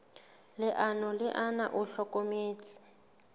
leano le ona o hlokometse